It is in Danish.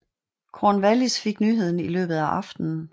Cornwallis fik nyheden i løbet af aftenen